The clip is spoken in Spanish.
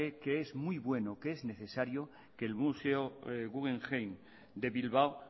cree que es muy bueno que es necesario que el museo guggenheim de bilbao